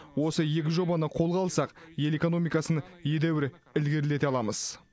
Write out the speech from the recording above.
осы екі жобаны қолға алсақ ел экономикасын едәуір ілгерілете аламыз